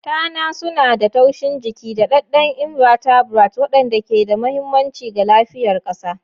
Tana suna da taushin jiki, daɗaɗɗen invertebrates waɗanda ke da mahimmanci ga lafiyar ƙasa.